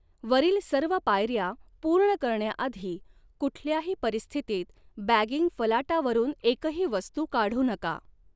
वरील सर्व पायऱ्या पूर्ण करण्या आधी कुठल्याही परिस्थितीत बॅगिंग फलाटावरून एकही वस्तू काढू नका.